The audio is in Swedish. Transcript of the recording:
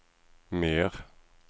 mer